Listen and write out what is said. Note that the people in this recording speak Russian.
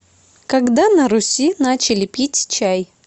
когда на руси начали пить чай